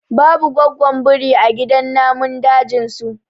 babu gwaggon biri a gidan namun dajin su